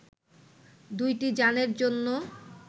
দু’টি যানের জন্য